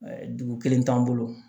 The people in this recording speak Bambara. Dugu kelen t'an bolo